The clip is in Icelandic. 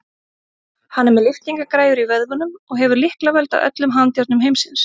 Hann er með lyftingagræjur í vöðvunum og hefur lyklavöld að öllum handjárnum heimsins.